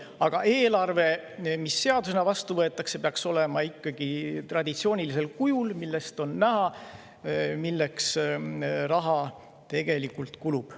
Ent eelarve, mis seadusena vastu võetakse, peaks olema ikkagi traditsioonilisel kujul, nii et sellest on näha, milleks raha tegelikult kulub.